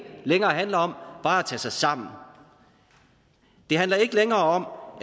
længere handler om bare at tage sig sammen det handler ikke længere